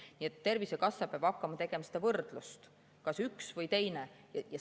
Nii et Tervisekassa peab hakkama tegema seda võrdlust, kas üks või teine.